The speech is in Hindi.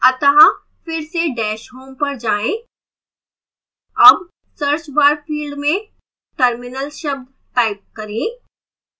अतः फिर से dash home पर जाएं अब search bar फिल्ड में terminal शब्द टाइप करें